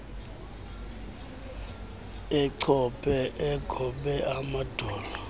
achophe egobe amadolo